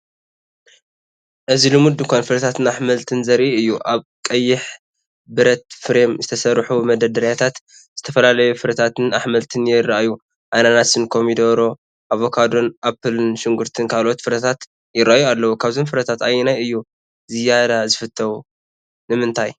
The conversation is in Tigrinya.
እዚ ልሙድ ድኳን ፍረታትን ኣሕምልትን ዘርኢ እዩ። ኣብ ቀይሕ ብረት ፍሬም ዝተሰርሑ መደርደሪታት ዝተፈላለዩ ፍረታትን ኣሕምልትን የርእዩ። ኣናናስን ፡ ኮሚደረ፡ ኣቮካዶን ኣፕልን ሽጉርትን ካልኦት ፍረታትን ይረኣዩ ኣለዉ ።ካብዞም ፍረታት ኣየናይ እዩ ዝያዳ ዝፈትዎ? ንምንታይ?